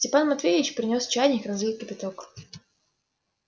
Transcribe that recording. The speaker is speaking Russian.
степан матвеевич принёс чайник разлил кипяток